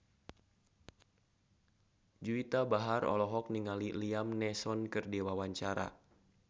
Juwita Bahar olohok ningali Liam Neeson keur diwawancara